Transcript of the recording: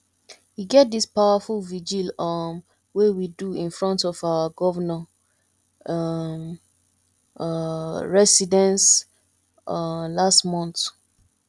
e get dis powerful vigil um wey we do in front of our governor um um residence um last month